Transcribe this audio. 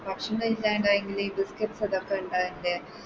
ഭക്ഷണയില്ലാണ്ട് ആയെങ്കില്